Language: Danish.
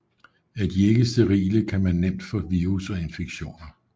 Er de ikke sterile kan man nemt få virus og infektioner